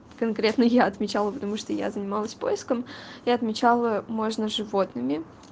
конкретно я отвечала потому что я занималась поиском и отмечала можно животными